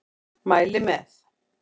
Mæli með.